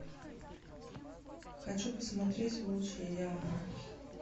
хочу посмотреть волчья яма